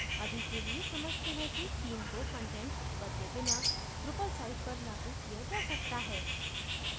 अभी के लिए समझते हैं कि theme को कंटेंट बदले बिना drupal site पर लागू किया जा सकता है